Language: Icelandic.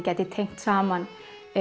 gæti tengt saman